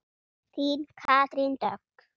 Þín Katrín Dögg.